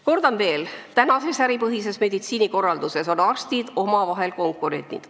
Kordan veel: tänases äripõhises meditsiinikorralduses on arstid omavahel konkurendid.